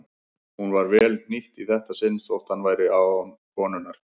Hún var vel hnýtt í þetta sinn þótt hann væri án konunnar.